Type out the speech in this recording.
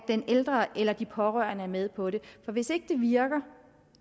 den ældre eller de pårørende er med på det for hvis ikke det virker